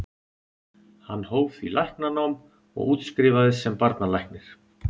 Hann hóf því læknanám og útskrifaðist sem barnalæknir.